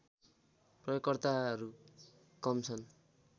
प्रयोगकर्ताहरू कम छन्